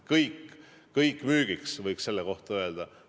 "Kõik müügiks," võiks selle kohta öelda.